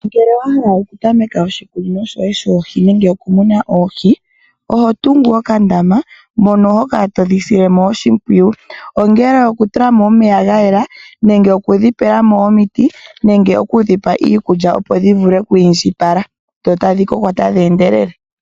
Ngele wa hala oku tameka oshikunino shoye shoohi nenge okumuna oohi, oho tungu okandama mono ho kala todhi sile mo oshimpwiyu. Ongele okutula mo omeya ga yela nenge okudhipela mo omiti nenge okudhipa iikulya opo dhi vule okwiindjipala dho tadhi koko tadhi endelele.